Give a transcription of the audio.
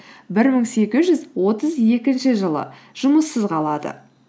бір мың сегіз жүз отыз екінші жылы жұмыссыз қалады